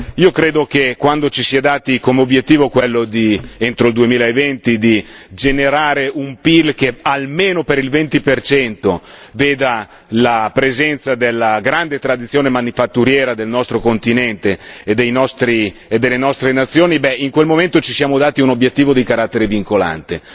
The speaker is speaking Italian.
Io credo, che quando ci si è dati come obiettivo quello, entro il 2020, di generare un PIL che almeno per il 20 veda la presenza della grande tradizione manifatturiera del nostro continente e delle nostre nazioni, beh, in quel momento ci siamo dati un obiettivo di carattere vincolante.